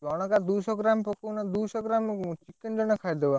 ଜଣକା ଦୁଇଶହ ଗ୍ରାମ୍ ପକାଉନ ଦୁଇଶହ ଗ୍ରାମ୍ chicken ଜଣେ ଖାଇଦବ,